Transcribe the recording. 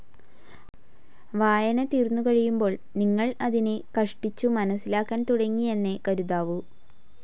വായന തീർന്നുകഴിയുമ്പോൾ, നിങ്ങൾ അതിനെ കഷ്ടിച്ചു മനസ്സിലാക്കാൻ തുടങ്ങിയെന്നേ കരുതാവൂ.